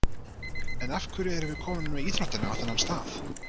En af hverju erum við komin með íþróttina á þennan stað??